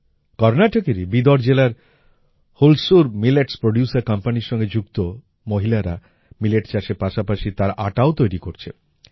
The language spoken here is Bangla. কর্নাটকেরই বিদর জেলায় হুলসুর মিলেটস প্রোডিউসের কোম্পানির সঙ্গে যুক্ত মহিলারা মিলেট চাষের পাশাপাশি তার আটাও তৈরি করছে